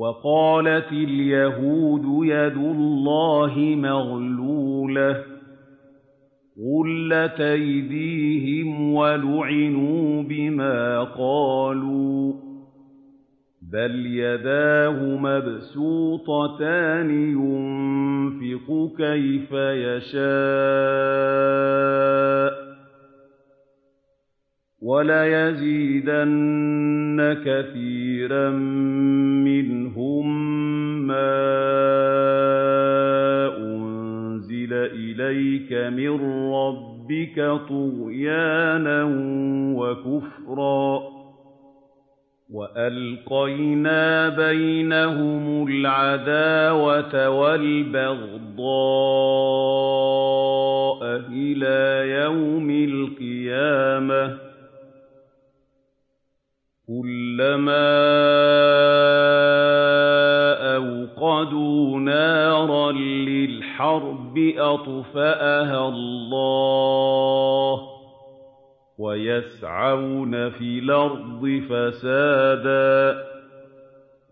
وَقَالَتِ الْيَهُودُ يَدُ اللَّهِ مَغْلُولَةٌ ۚ غُلَّتْ أَيْدِيهِمْ وَلُعِنُوا بِمَا قَالُوا ۘ بَلْ يَدَاهُ مَبْسُوطَتَانِ يُنفِقُ كَيْفَ يَشَاءُ ۚ وَلَيَزِيدَنَّ كَثِيرًا مِّنْهُم مَّا أُنزِلَ إِلَيْكَ مِن رَّبِّكَ طُغْيَانًا وَكُفْرًا ۚ وَأَلْقَيْنَا بَيْنَهُمُ الْعَدَاوَةَ وَالْبَغْضَاءَ إِلَىٰ يَوْمِ الْقِيَامَةِ ۚ كُلَّمَا أَوْقَدُوا نَارًا لِّلْحَرْبِ أَطْفَأَهَا اللَّهُ ۚ وَيَسْعَوْنَ فِي الْأَرْضِ فَسَادًا ۚ